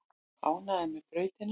Ánægðir með brautina